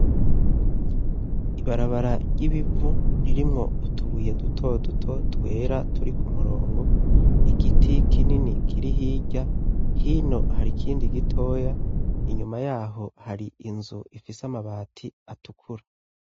Ibarabara ry'ibivu ririmwo utubuye dutoduto twera turi ku murongo, igiti kinini kiri hirya, hino hari ikindi gitoya, inyuma y'aho hari inzu ifise amabati atukura.